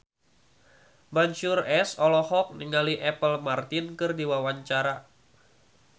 Mansyur S olohok ningali Apple Martin keur diwawancara